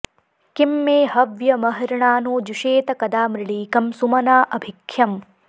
किं मे॑ ह॒व्यमहृ॑णानो जुषेत क॒दा मृ॑ळी॒कं सु॒मना॑ अ॒भि ख्य॑म्